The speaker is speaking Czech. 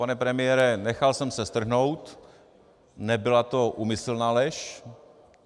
Pane premiére, nechal jsem se strhnout, nebyla to úmyslná lež.